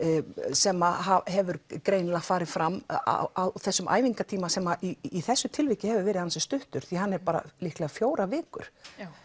sem hefur greinilega farið fram á þessum æfingatíma sem í þessu tilviki hefur verið ansi stuttur því hann er bara fjórar vikur